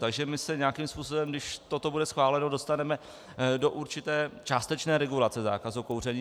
Takže my se nějakým způsobem, když toto bude schváleno, dostaneme do určité částečné regulace zákazu kouření.